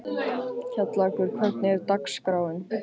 Kjallakur, hvernig er dagskráin?